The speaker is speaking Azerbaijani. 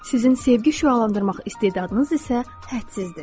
Sizin sevgi şüalandırmaq istedadınız isə hədsizdir.